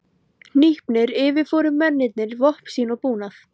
Hnípnir yfirfóru mennirnir vopn sín og búnað.